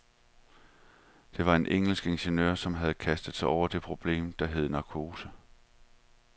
Der var en engelsk ingeniør, som havde kastet sig over det problem, der hed narkose.